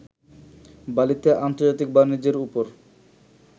বালিতে আন্তর্জাতিক বাণিজ্যের ওপর